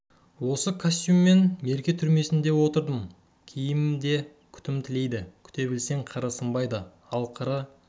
осы костюммен мерке түрмесінде де отырдым киім де күтім тілейді күте білсең қыры сынбайды ал қыры